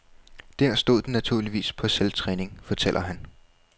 Der stod den naturligvis på selvtræning, fortæller han.